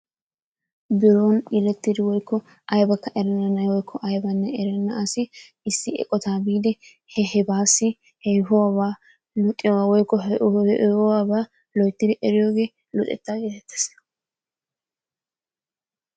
Biron yelettidi woykko aybbanne erenna na'ay woykko aybbanne erenna asi issi eqqota biidi hebaassi yehehuwabaa luxiyogaa woykko loyttidi eriyogee luxetta gettettees.